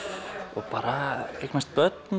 og bara eignast börn